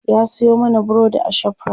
ya Sayo mana burodi a shoprite